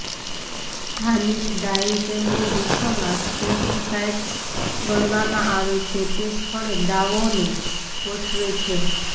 સ્થાનિક ડાઈવ કેન્દ્રો વિશ્વમાં શ્રેષ્ઠ સાઇટ્સ ગણવામાં આવે છે તે સ્થળે ડાવોને ગોઠવે છે